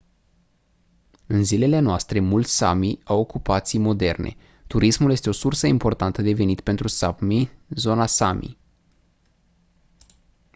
în zilele noastre mulți sámi au ocupații moderne. turismul este o sursă importantă de venit pentru sápmi zona sámi